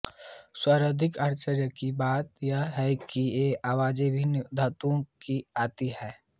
सर्वाधिक आश्चर्य की बात यह है कि ये आवाजे विभिन्न धातुओ की आती है